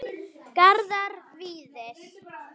Garðar Víðir.